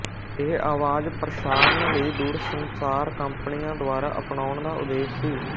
ਇਹ ਆਵਾਜ਼ ਪ੍ਰਸਾਰਣ ਲਈ ਦੂਰਸੰਚਾਰ ਕੰਪਨੀਆਂ ਦੁਆਰਾ ਅਪਣਾਉਣ ਦਾ ਉਦੇਸ਼ ਸੀ